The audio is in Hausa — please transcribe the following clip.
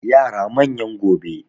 yara manyan gobe